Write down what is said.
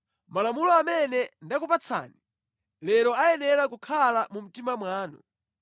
Malamulo amene ndakupatsani lero ayenera kukhala mu mtima mwanu.